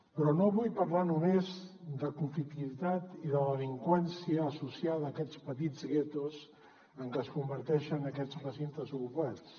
però no vull parlar només de conflictivitat i de delinqüència associada a aquests petits guetos en què es converteixen aquests recintes ocupats